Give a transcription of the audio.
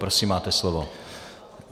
Prosím, máte slovo.